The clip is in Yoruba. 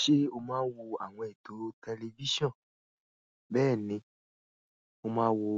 Ṣé o máa ń wo àwọn ètò tẹlifíṣàn? Bẹ́ẹ̀ ni, mo máa ń wo